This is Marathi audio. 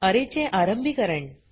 अरे चे आरंभीकरण